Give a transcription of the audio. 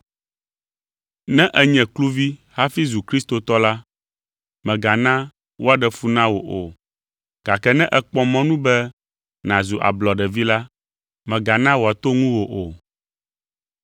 Ne ènye kluvi hafi zu kristotɔ la, mègana wòaɖe fu na wò o gake ne èkpɔ mɔnu be nàzu ablɔɖevi la, mègana wòato ŋuwò o.